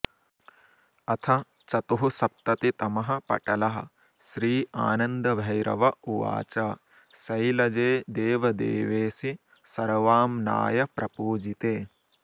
अथ चतुःसप्ततितमः पटलः श्रीआनन्दभैरव उवाच शैलजे देवदेवेशि सर्वाम्नायप्रपूजिते